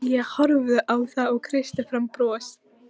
Ég horfði á þá og kreisti fram bros.